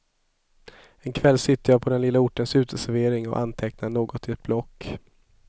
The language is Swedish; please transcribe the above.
En kväll sitter jag på den lilla ortens uteservering och antecknar något i ett block.